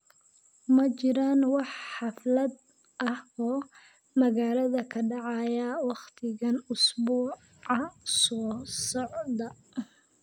ma jiraan wax xaflado ah oo magaalada ka dhacaya wakhtigan usbuuca soo socda